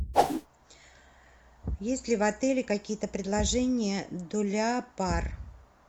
есть ли в отеле какие то предложения для пар